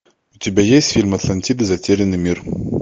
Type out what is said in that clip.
у тебя есть фильм атлантида затерянный мир